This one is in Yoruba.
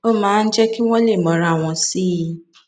ó máa ń jé kí wón lè mọra wọn sí i